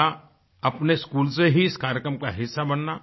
पहला अपने स्कूल से ही इस कार्यक्रम का हिस्सा बनना